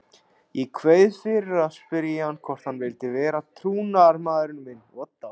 Ég kveið fyrir að spyrja hann hvort hann vildi vera trúnaðarmaðurinn minn.